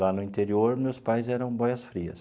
Lá no interior, meus pais eram boias frias.